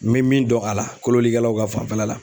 N be min dɔn a la, kolonnikɛlaw ka fanfɛla la